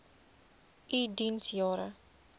u diens jare